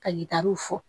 Ka yiritaruw fɔ